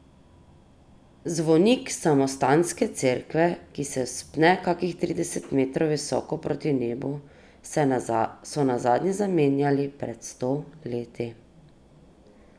Zvonik samostanske cerkve, ki se pne kakih trideset metrov visoko proti nebu, so nazadnje zamenjali pred sto leti.